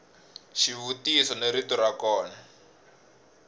xivutiso ni rito ra kona